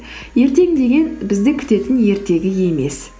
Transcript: ертең деген бізді күтетін ертегі емес